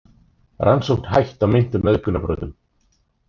Rannsókn hætt á meintum auðgunarbrotum